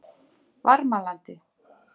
Varmalandi